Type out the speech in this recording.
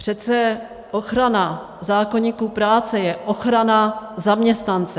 Přece ochrana zákoníku práce je ochrana zaměstnance.